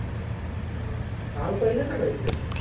আহ ভাল কৰিলে ছাগৈ এতিয়ালে